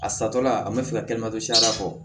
A satɔla a bɛ fɛ ka kɛ ne ma to siyɛri bɔ